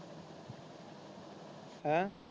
ਹੇ।